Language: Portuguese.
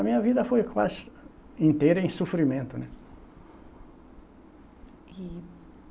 A minha vida foi quase inteira em sofrimento. E